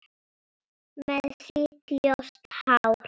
Með sítt, ljóst hár.